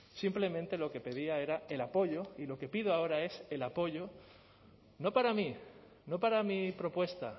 simplemente lo que pedía era el apoyo y lo que pido ahora es el apoyo no para mí no para mi propuesta